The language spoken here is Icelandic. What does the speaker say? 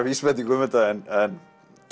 vísbendingu um þetta en